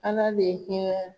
Ala bɛ hinɛ